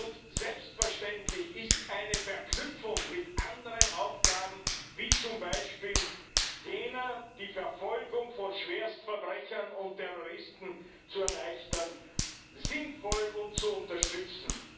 Und selbstverständlich ist eine Verknüpfung mit anderen Aufgaben, wie zum Beispiel jener, die Verfolgung von Schwerstverbrechern und Terroristen zu erleichtern, sinnvoll und zu unterstützen.